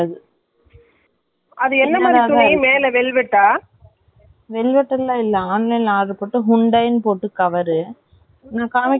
நான் காமிக்குறேன் சின்னதாதான் இருக்கு நான் இந்த மாதிரி பேசாம.இதை return பண்ணிட்டு, இந்த மாதிரி பண்ணாலான இங்க வந்துட்டு. அது பாப்பாக்கு முக்குல போயிடுச்சி என்ன பண்ணுறது ஏங்குற மாதிரி.